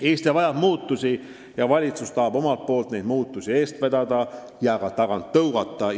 Eesti vajab muudatusi ning valitsus tahab neid eest vedada ja ka tagant tõugata.